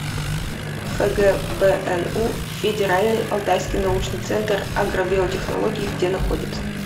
фгбну федеральный алтайский научный центр агробиотехнологий где находится